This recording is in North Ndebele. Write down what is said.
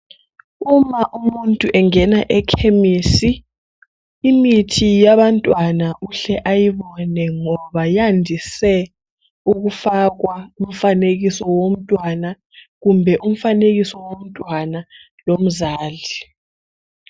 Uma umuntu engena emakhemisi imithi yabantwana uhle uyibone ngoba ziyandiswe ukufakwa umfanekiso womntwana kumbe umfanekiso womntwana lomzali